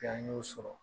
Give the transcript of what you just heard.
An y'o sɔrɔ